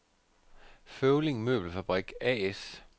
Føvling Møbelfabrik A/S